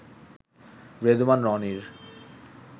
রেদওয়ান রনির